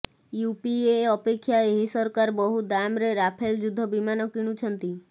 UPA ଅପେକ୍ଷା ଏହି ସରକାର ବହୁ ଦାମରେ ରାଫେଲ ଯୁଦ୍ଧ ବିମାନ କିଣୁଛନ୍ତି